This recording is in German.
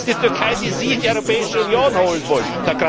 Das ist die Türkei, die Sie in die Europäische Union holen wollen.